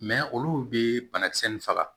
olu bɛ banakisɛ nin faga